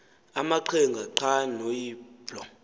amaqhinga nqwa noyiblo